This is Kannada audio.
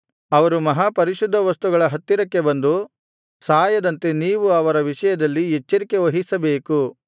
ಅವರು ಮಹಾಪರಿಶುದ್ಧ ವಸ್ತುಗಳ ಹತ್ತಿರಕ್ಕೆ ಬಂದು ಸಾಯದಂತೆ ನೀವು ಅವರ ವಿಷಯದಲ್ಲಿ ಎಚ್ಚರಿಕೆ ವಹಿಸಬೇಕು